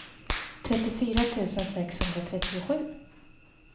trettiofyra tusen sexhundratrettiosju